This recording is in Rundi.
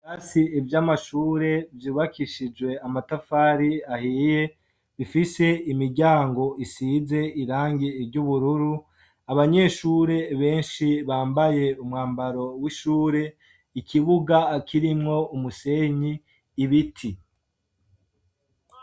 Ibirasi vy'amashure vyubakishije amatafari ahiye, bifise imiryango isize irangi ry'ubururu, abanyeshure benshi bambaye umwambaro w'ishure, ikibuga kirimwo umusenyi, ibiti.